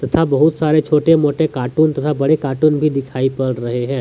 तथा बहुत सारे छोटे मोटे कार्टून तथा बड़े कार्टून भी दिखाई पड़ रहे है।